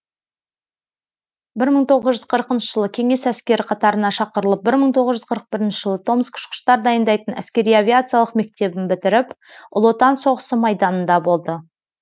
бір мың тоғыз жүз қырқыншы жылы кеңес әскері қатарына шақырылып бір мың тоғыз жүз қырық бірінші жылы томск ұшқыштар дайындайтын әскери авиациялық мектебін бітіріп ұлы отан соғысы майданында болды